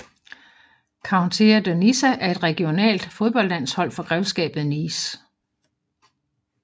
Countea de Nissa er et regionalt fodboldlandshold for Grevskabet Nice